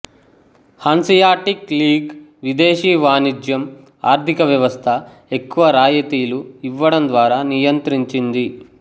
Hanseatic League విదేశీ వాణిజ్యం ఆర్థిక వ్యవస్థ ఎక్కువ రాయితీలు ఇవ్వడం ద్వారా నియంత్రించింది